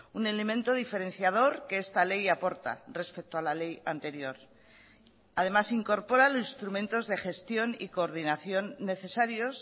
un elemento diferenciador que esta ley aporta respecto a la ley anterior además incorpora los instrumentos de gestión y coordinación necesarios